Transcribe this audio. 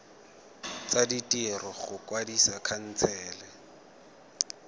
tsa ditiro go kwadisa khansele